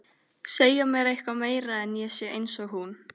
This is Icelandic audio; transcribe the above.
Úr þeim bý ég saft sem þroskast út á búðing.